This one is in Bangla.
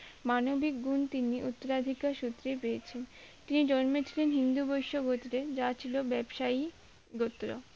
মানবিক গুণ তিনি উত্তরাধিকার সূত্রে পেয়েছেন তিনি জন্ম থেকে হিন্দু বৈশ্য গত্রে যা ছিল ব্যবসায়ী গোত্র